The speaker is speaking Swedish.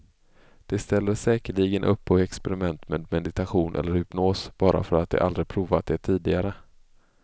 De ställer säkerligen upp på experiment med meditation eller hypnos, bara för att de aldrig provat det tidigare.